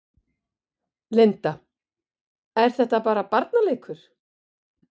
Linda: Er þetta bara barnaleikur?